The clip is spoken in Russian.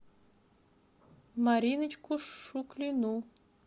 мариночку шуклину